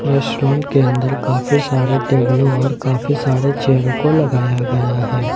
Restaurant के अंदर काफी सारे टेबलों और काफी सारे चेयर को लगाया गया है।